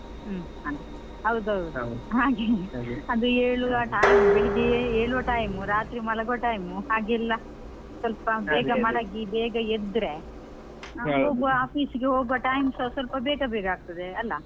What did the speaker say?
ಹ್ಮ್, ಹೌದೌದು ಅದು ಏಳುವ time ಬೆಳಿಗ್ಗೆ ಏಳುವ time ರಾತ್ರಿ ಮಲಗುವ time ಹಾಗೆಲ್ಲ ಮಲಗಿ ಬೇಗ ಎದ್ರೆ ಹೋಗುವ office ಗೆ ಹೋಗುವ ನಾವ್ time ಸಾ ಸ್ವಲ್ಪ ಬೇಗ ಬೇಗ ಆಗ್ತದೆ ಅಲಾ.